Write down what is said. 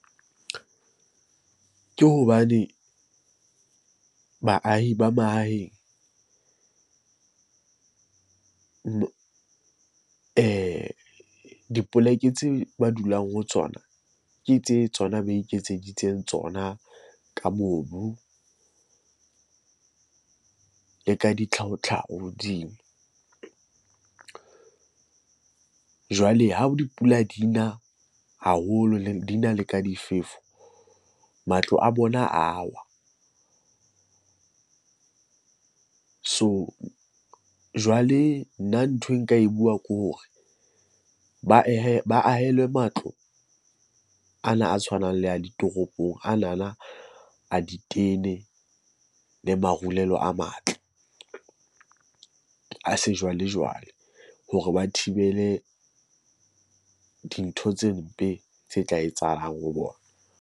Ke hobane baahi ba mahaheng dipoleke tseo ba dulang ho tsona ke tse tsona ba iketseditseng tsona ka mobu le ka ditlhahotlhaho hodimo. Jwale ha dipula dina haholo dina le ka difefo, matlo a bona a wa. So jwale nna nthwe nka e buang ke hore ba ahe, ba ahelwe matlo ana a tshwanang le a ditoropong. Anana a ditene le marulelo a matle a sejwalejwale hore ba thibele dintho tse mpe tse tla etsahalang ho bona.